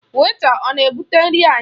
Wèịta ọ na-ebụte nri anyị?